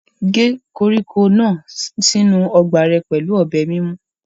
Gé koríko náà sínú ọgbà rẹ pẹ̀lú ọ̀bẹ mímú.